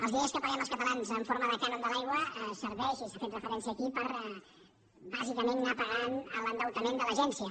els diners que paguem els catalans en forma de cànon de l’aigua serveixen i se n’ha fet referència aquí per bàsicament anar pagant l’endeutament de l’agència